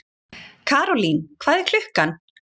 Karólín, hvað er klukkan?